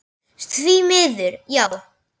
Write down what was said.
Því miður, já.